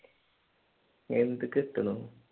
എന്ത് കിട്ടണു